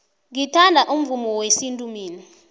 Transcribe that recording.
ngithanda umvumo wesintu mina